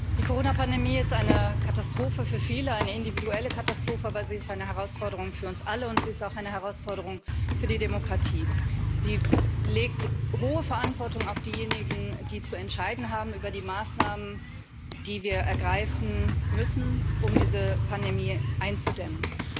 Die Corona Pandemie ist eine Katastrophe für viele, eine individuelle Katastrophe, aber sie ist eine Herausforderung für uns alle, und sie ist auch eine Herausforderung für die Demokratie. Sie legt hohe Verantwortung auf diejenigen, die zu entscheiden haben über die Maßnahmen, die wir ergreifen müssen, um diese Pandemie einzudämmen.